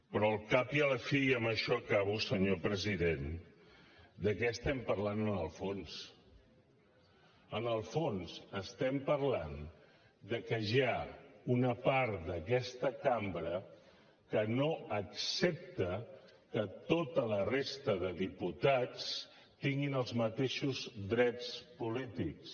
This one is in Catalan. però al cap i a la fi i amb això acabo senyor president de què estem parlant en el fons en el fons estem parlant de que hi ha una part d’aquesta cambra que no accepta que tota la resta de diputats tinguin els mateixos drets polítics